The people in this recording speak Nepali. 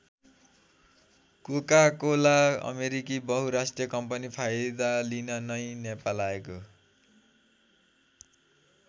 कोकाकोला अमेरिकी बहुराष्ट्रिय कम्पनी फाइदा लिन नै नेपाल आएको हो।